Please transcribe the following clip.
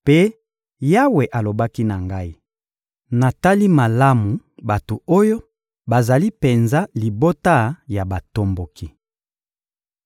Mpe Yawe alobaki na ngai: «Natali malamu bato oyo; bazali penza libota ya batomboki!